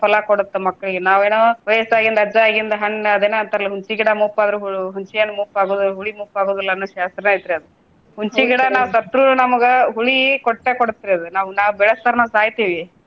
ಫಲಾ ಕೊಡುತ್ತ ಮಕ್ಳಿಗೆ ನಾವ್ ಏನೊ ವಯಸ್ಸಾಗಿಂದ ಅಜ್ಜಾಗಿಂದ ಹಣ್ಣ ಅದೇನೋ ಅಂತಾರಲ್ಲ ಹುಣಸಿ ಗಿಡ ಮುಪ್ಪಾದ್ರು ಹು~ ಹುಣ್ಸೆ ಹಣ್ಣು ಮುಪ್ಪ ಆಗೋದಿಲ್ಲ ಹುಳಿ ಮುಪ್ಪ ಆಗೋದಿಲ್ಲ ಅನ್ನೋ ಶಾಸ್ತ್ರ ಐತ್ರಿ ಅದ. ಹುಣ್ಸೆ ಗಿಡ ನಾವ ಸತ್ರು ನಮಗ ಹುಳಿ ಕೊಟ್ಟೆ ಕೊಡುತ್ರಿ ಅದ ನಾವ್ ನಾವ್ ಬೆಳೆಸಿದರ್ನ ಸಾಯ್ತಿವಿ.